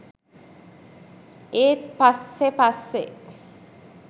ඒත් පස්සෙ පස්සෙ